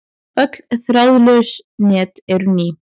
Öll þráðlaus net eru ný.